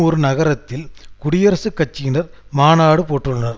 ஒரு நகரத்தில் குடியரசுக் கட்சியினர் மாநாடு போட்டுள்ளனர்